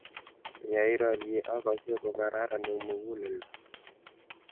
ya I rarie akase ko kararan eng muguleldo